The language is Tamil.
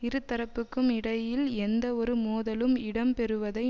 இரு தரப்புக்கும் இடையில் எந்த ஒரு மோதலும் இடம் பெறுவதை